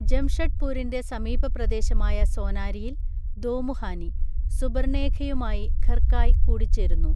ജംഷഡ്പൂരിൻ്റെ സമീപപ്രദേശമായ സോനാരിയിൽ (ദോമുഹാനി) സുബർണേഖയുമായി ഖർകായ് കൂടിച്ചേരുന്നു.